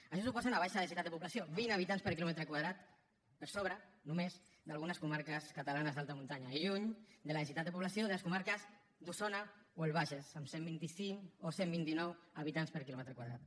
això suposa una baixa densitat de població vint habitants per quilòmetre quadrat per sobre només d’algunes comarques catalanes d’alta muntanya i lluny de la densitat de població de les comarques d’osona o el bages amb cent i vint cinc o cent i vint nou habitants per quilòmetre quadrat